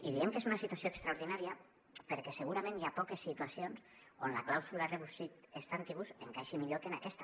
i diem que és una situació extraordinària perquè segurament hi ha poques situacions on la clàusula rebus sic stantibus encaixi millor que en aquesta